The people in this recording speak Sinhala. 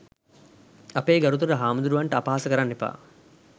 අපේ ගරුතර හාමුදුරුවන් ට අපහාස කරන්න එපා